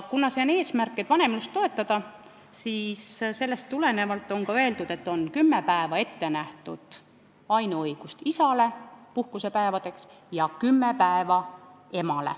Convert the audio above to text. Kuna eesmärk on vanemlust toetada, siis sellest tulenevalt on nähtud isale ette ainuõigus kümme puhkusepäeva võtta ja ka emal on õigus kümme päeva võtta.